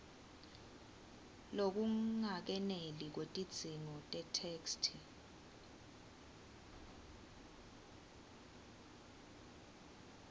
lokungakeneli kwetidzingo tetheksthi